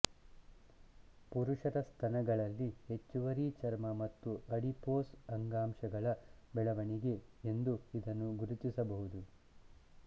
ಪುರುಷರ ಸ್ತನಗಳಲ್ಲಿ ಹೆಚ್ಚುವರಿ ಚರ್ಮ ಮತ್ತು ಅಡಿಪೋಸ್ ಅಂಗಾಂಶಗಳ ಬೆಳವಣಿಗೆ ಎಂದು ಇದನ್ನು ಗುರುತಿಸಬಹುದು